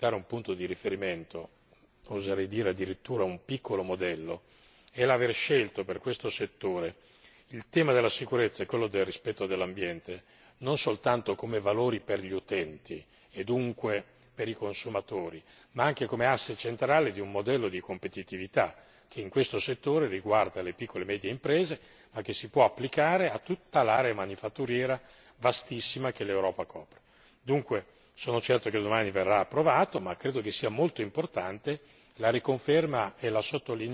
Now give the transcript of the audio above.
Quello che mi pare importante, e può diventare un punto di riferimento oserei dire addirittura un piccolo modello è l'aver scelto, per questo settore, il tema della sicurezza e quello del rispetto dell'ambiente, non soltanto come valori per gli utenti, e dunque per i consumatori, ma anche come asse centrale di un modello di competitività, che in questo settore riguarda le piccole e medie imprese, ma che si può applicare a tutta l'area manifatturiera, vastissima, che l'Europa conta. Dunque sono certo che domani verrà approvato ma credo sia molto importante